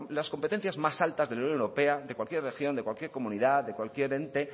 las competencias más altas de la unión europea de cualquier región de cualquier comunidad de cualquier ente